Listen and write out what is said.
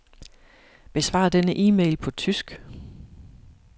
Besvar denne e-mail på tysk.